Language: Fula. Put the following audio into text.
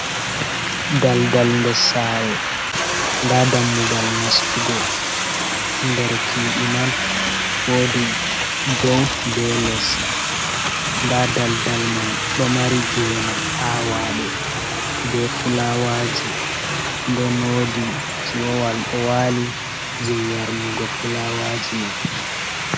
Dal-dal nder sare nda dammugal nastugo nder chuɗi man, wodi dow be les nda daldal man ɗo mari gene awaɗe be fulawaji den wodi tiyo wal ɗo wali je yarnugo fulawaji man.